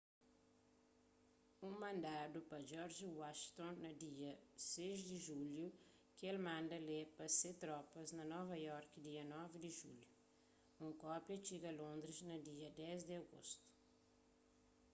un mandadu pa george washington na dia 6 di julhu ki el manda lê pa se tropas na nova iorki dia 9 di julhu un kópia txiga londris na dia 10 di agostu